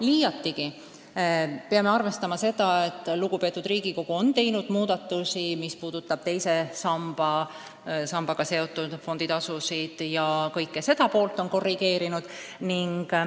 Liiatigi peame arvestama seda, et lugupeetud Riigikogu on teinud muudatusi, mis puudutavad teise sambaga seotud fonditasusid, kõike seda on korrigeeritud.